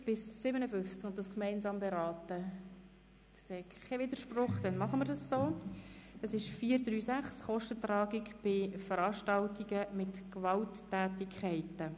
Sie haben den Antrag mit 136 Ja- zu 0 NeinStimmen bei 2 Enthaltungen angenommen.